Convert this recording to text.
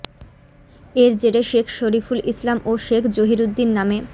এর জেরে শেখ শরিফুল ইসলাম ও শেখ জহিরুদ্দিন নামে